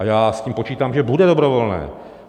A já s tím počítám, že bude dobrovolné.